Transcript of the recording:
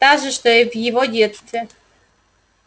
та же что и в его детстве